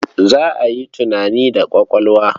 Za a yi tunani da ƙwaƙwalwa.